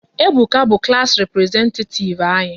Ebuka bụ klass representetativ anyị